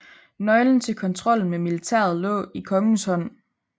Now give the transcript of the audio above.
Nøglen til kontrollen med militæret lå i kongens hånd